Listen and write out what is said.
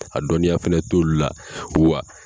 A dɔnniya fɛnɛ t'olu la wa